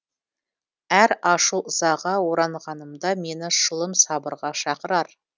әр ашу ызаға оранғанымда мені шылым сабырға шақырар